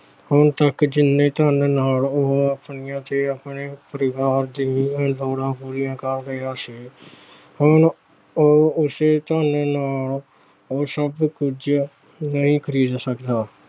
ਹੁਣ ਤੱਕ ਜਿੰਨੇ ਧਨ ਨਾਲ ਉਹ ਆਪਣੇ ਤੇ ਆਪਣੇ ਪਰਿਵਾਰ ਦੀਆਂ ਲੋੜਾਂ ਪੂਰੀਆਂ ਕਰ ਰਿਹਾ ਸੀ, ਉਹ ਅਹ ਉਹ ਉਸੇ ਧਨ ਨਾਲ ਸਭ ਕੁਛ ਨਹੀਂ ਖਰੀਦ ਸਕਦਾ।